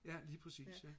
ja lige præcis ja